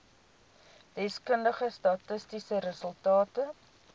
deskundige statistiese resultate